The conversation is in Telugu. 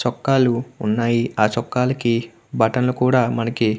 చొక్కాలు ఉన్నాయ్. ఆ చొక్కాకి బటన్స్ కూడా మనకి --